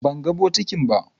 Ban gan bokiti ba.